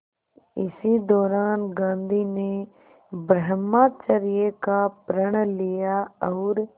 इसी दौरान गांधी ने ब्रह्मचर्य का प्रण लिया और